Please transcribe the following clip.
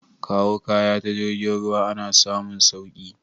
Kawo kaya ta jirgin ruwa ana samun sauki